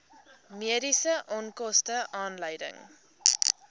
mediese onkoste aanleiding